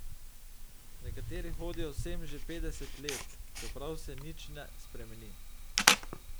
Nekateri hodijo sem že petdeset let, čeprav se nič ne spremeni.